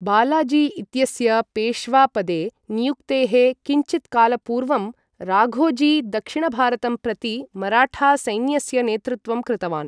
बालाजी इत्यस्य पेश्वापदे नियुक्तेः किञ्चित्कालपूर्वं, राघोजी दक्षिणभारतं प्रति मराठासैन्यस्य नेतृत्वं कृतवान्।